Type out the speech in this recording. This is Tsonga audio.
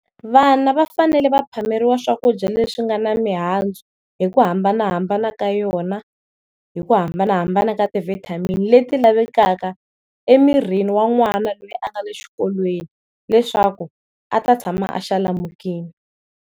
Vana va fanele va phameriwa swakudya leswi nga na mihandzu hi ku hambanahambana ka yona hi ku hambanahambana ka ti vitamin leti lavekaka emirini wa n'wana lweyi a nga le xikolweni leswaku a ta tshama a xalamukile.